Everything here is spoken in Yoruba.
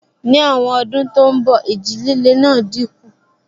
Ní àwọn ọdún tó n bọ̀, ìjì líle náà dínkù